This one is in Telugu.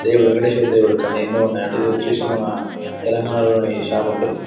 దేవుడు వెంకటేశ్వర దేవుడు. కానీ ఎన్నో ఉన్నాయండి. ఇదోచేసి మన తెలంగాణలోని షాప్ అండి.